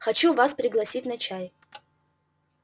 хочу вас пригласить на чай